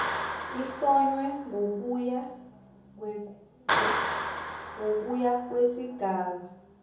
ehlonywe ngokuya kwesigaba